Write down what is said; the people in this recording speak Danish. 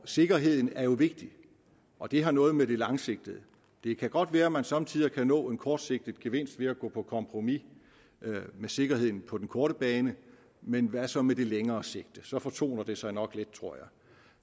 sikkerheden er jo vigtig og det har noget med det langsigtede at det kan godt være at man somme tider kan opnå en kortsigtet gevinst ved at gå på kompromis med sikkerheden på den korte bane men hvad så med det længere sigte så fortoner det sig nok lidt tror jeg